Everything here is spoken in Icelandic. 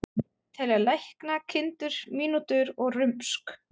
Telja lækna, kindur, mínútur og rumsk.